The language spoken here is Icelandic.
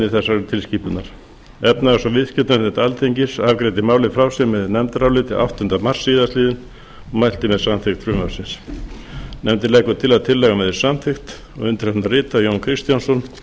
þessarar tilskipunar efnahags og viðskiptanefnd alþingis afgreiddi málið frá sér með nefndaráliti áttunda mars síðastliðinn og mælti með samþykkt frumvarpsins nefndin leggur til að tillagan verði samþykkt nefndin leggur til að tillagan verði samþykkt og undir hana rita jón kristjánsson